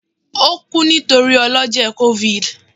o ku nitori ọlọjẹ covid